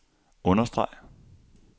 understreg